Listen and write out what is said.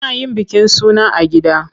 Ana yin bikin suna a gida.